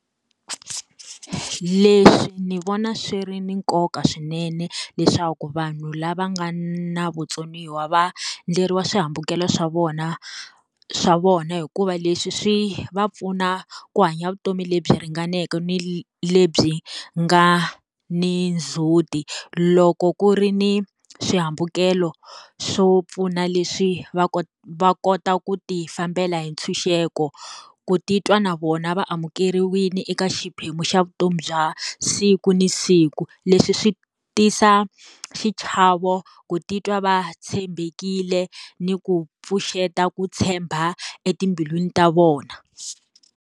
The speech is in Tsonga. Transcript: Leswi ni vona swi ri na nkoka swinene, leswaku vanhu lava nga na vutsoniwa va endleriwa swihambukelo swa vona swa vona hikuva leswi swi va pfuna ku hanya vutomi lebyi ringaneke ni lebyi nga ni ndzhuti. Loko ku ri ni swihambukelo swo pfuna leswi va va kota ku ti fambela hi ntshunxeko, ku titwa na vona va amukeriwile eka xiphemu xa vutomi bya siku ni siku. Leswi swi tisa xichavo vo ku titwa va tshembekile ni ku pfuxeta ku tshemba etimbilwini ta vona.